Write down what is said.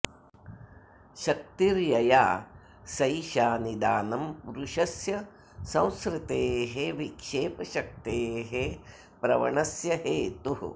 शक्तिर्यया सैषा निदानं पुरुषस्य संसृतेः विक्षेपशक्तेः प्रवणस्य हेतुः